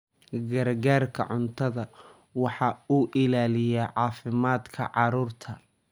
Gargaarka cuntadu waxa uu ilaaliyaa caafimaadka carruurta.